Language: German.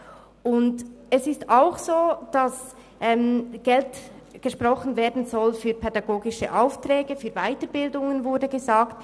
Auch ist gesagt worden, es solle Geld für pädagogische Aufträge, für Weiterbildungen gesprochen werden.